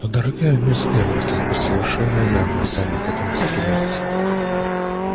но дорогая миссис гамильтон вы совершенно явно сами к этому стремились